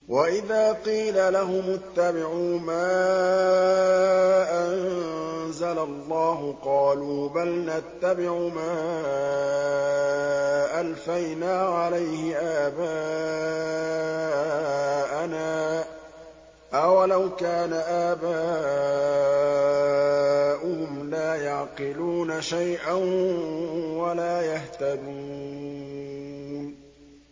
وَإِذَا قِيلَ لَهُمُ اتَّبِعُوا مَا أَنزَلَ اللَّهُ قَالُوا بَلْ نَتَّبِعُ مَا أَلْفَيْنَا عَلَيْهِ آبَاءَنَا ۗ أَوَلَوْ كَانَ آبَاؤُهُمْ لَا يَعْقِلُونَ شَيْئًا وَلَا يَهْتَدُونَ